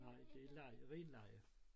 Nej det leje ren leje